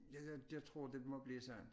Ja det jeg tror det må blive sådan